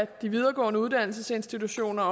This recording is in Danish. de videregående uddannelsesinstitutioner